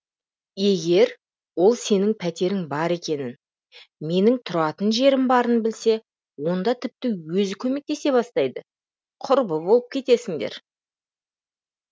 егер ол сенің пәтерің бар екенін менің тұратын жерім барын білсе онда тіпті өзі көмкетесе бастайды құрбы болып кетесіңдер